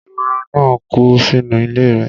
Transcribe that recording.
ehoro náà kú sínú ilé rẹ̀